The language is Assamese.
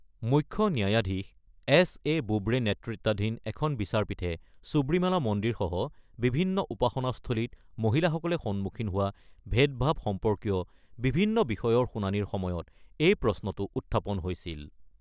মুখ্য ন্যায়াধীশ এছ এ বোবড়ে নেতৃত্বাধীন এখন বিচাৰপীঠে সব্ৰিমালা মন্দিসহ বিভিন্ন উপাসনাস্থলীত মহিলাসকলে সন্মুখীন হোৱা ভেদ-ভাৱ সম্পৰ্কীয় বিভিন্ন বিষয়ৰ শুনানিৰ সময়ত এই প্ৰশ্নটো উত্থাপন হৈছিল।